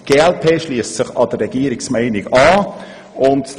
Die glp-Fraktion schliesst sich der Regierungshaltung an: